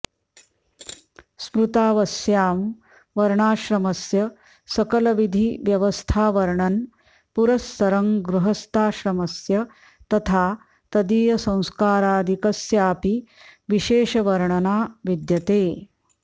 स्मृतावस्यां वर्णाश्रमस्य सकलविधि व्यवस्थावर्णन् पुरः सरं गृहस्थाश्रमस्य तथा तदीयसंस्कारादिकस्यापि विशेषवर्णना विद्यते